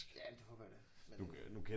Ja det håber ja da men øh